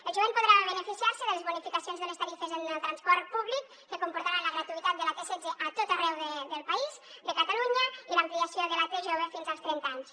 el jovent podrà beneficiar se de les bonificacions de les tarifes en el transport públic que comportaran la gratuïtat de la t setze a tot arreu del país de catalunya i l’ampliació de la t jove fins als trenta anys